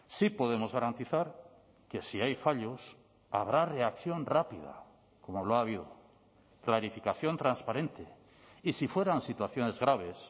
sí podemos garantizar que si hay fallos habrá reacción rápida como lo ha habido clarificación transparente y si fueran situaciones graves